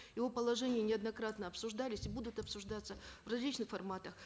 его положения неоднократно обсуждались и будут обсуждаться в различных форматах